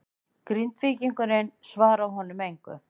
Grindvíkingurinn svaraði honum engu.